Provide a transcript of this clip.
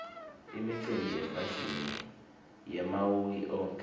imicimbi yefashini yamauiki onkhe